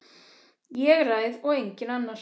Ég ræð og enginn annar.